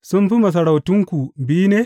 Sun fi masarautunku biyu ne?